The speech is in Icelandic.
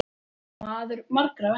Maður margra verka.